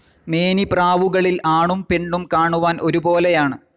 മേനിപ്രാവുകളിൽ ആണും പെണ്ണും കാണുവാൻ ഒരുപോലെയാണ്.